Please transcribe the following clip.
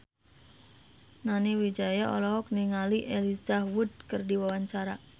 Nani Wijaya olohok ningali Elijah Wood keur diwawancara